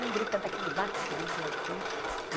Um grita daqui de baixo, outro grita lá de cima.